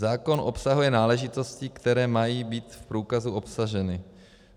Zákon obsahuje náležitosti, které mají být v průkazu obsaženy.